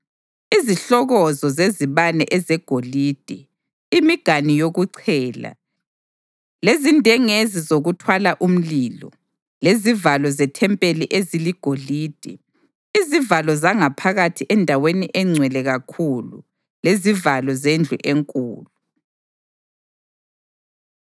izihlokozo zezibane ezegolide, imiganu yokuchela, lezindengezi zokuthwala umlilo, lezivalo zethempeli eziligolide, izivalo zangaphakathi eNdaweni eNgcwele Kakhulu lezivalo zendlu enkulu.